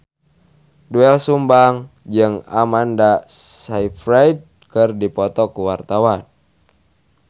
Doel Sumbang jeung Amanda Sayfried keur dipoto ku wartawan